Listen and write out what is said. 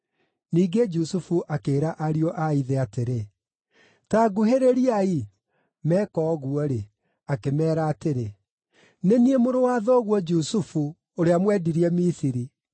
Ningĩ Jusufu akĩĩra ariũ a ithe atĩrĩ, “Ta nguhĩrĩriai.” Meeka ũguo-rĩ, akĩmeera atĩrĩ, “Nĩ niĩ mũrũ wa thoguo Jusufu, ũrĩa mwendirie Misiri!